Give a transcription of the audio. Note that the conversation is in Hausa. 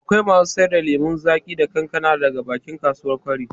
Akwai masu sayar da lemon zaƙi da kankana daga bakin kasuwar kwari